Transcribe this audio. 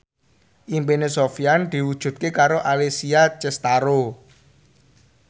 impine Sofyan diwujudke karo Alessia Cestaro